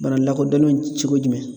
Bana lakodɔnnen cogo jumɛn?